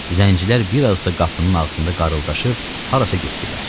Zəncilər bir az da qapının ağzında qarıldaşıb harasa getdilər.